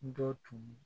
Dɔ tun